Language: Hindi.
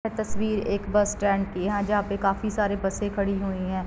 यह तस्वीर एक बस स्टैंड की है जहाँ पे काफी सारी बसे खड़ी हुई हैं।